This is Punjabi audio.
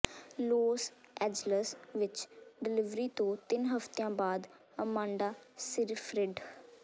ਲੋਸ ਐਂਜਲਸ ਵਿੱਚ ਡਲਿਵਰੀ ਤੋਂ ਤਿੰਨ ਹਫਤਿਆਂ ਬਾਅਦ ਅਮਾਂਡਾ ਸੀਫ੍ਰਿਡ